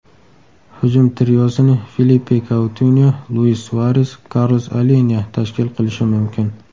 Hujum triosini Filippe KoutinyoLuis SuaresKarlos Alenya tashkil qilishi mumkin.